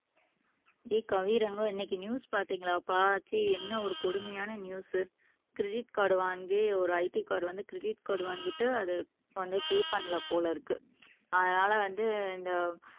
டேய் கவி இன்னைக்கு நியூஸ் பாத்தீங்களாப்பா ச்சீ என்ன ஒரு கொடுமையான நியூஸ் கிரெடிட் கார்டு வாங்கி ஒரு IT வந்து கிரெடிட் கார்டு வாங்கிட்டு அது வந்து பெ பண்ணலை போல இருக்கு அதனால வந்து இந்த